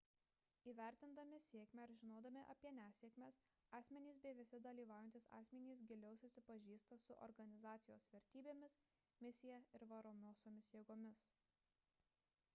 įvertindami sėkmę ir žinodami apie nesėkmes asmenys bei visi dalyvaujantys asmenys giliau susipažįsta su organizacijos vertybėmis misija ir varomosiomis jėgomis